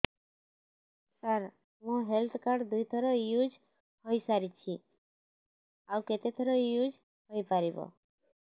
ସାର ମୋ health card ଦୁଇ ଥର ୟୁଜ଼ ହୈ ସାରିଛି ଆଉ କେତେ ଥର ୟୁଜ଼ ହୈ ପାରିବ